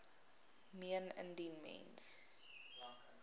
meen indien mens